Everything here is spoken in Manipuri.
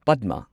ꯄꯗꯃ